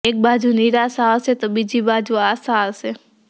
એક બાજું નિરાશા હશે તો બીજી બાજું આશા હશે